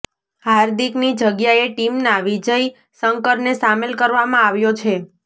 હાર્દિકની જગ્યાએ ટીમમાં વિજય શંકરને સામેલ કરવામાં આવ્યો છે